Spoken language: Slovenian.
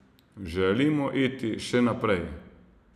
Želimo iti še naprej.